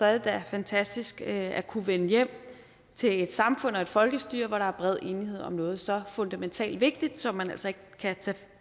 er det da fantastisk at kunne vende hjem til et samfund og et folkestyre hvor der er bred enighed om noget så fundamentalt vigtigt som man altså ikke kan tage